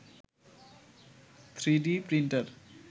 3d printer